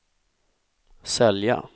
sälja